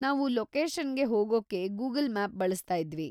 ನಾವು ಲೊಕೇಷನ್‌ಗೆ ಹೋಗೋಕೆ ಗೂಗಲ್‌ ಮ್ಯಾಪ್‌ ಬಳಸ್ತಾ ಇದ್ವಿ.